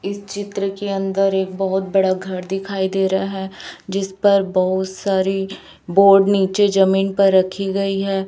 इस चित्र के अंदर एक बहोत बड़ा घर दिखाई दे रहा है जिस पर बहुत सारी बोर्ड नीचे जमीन पर रखी गई है।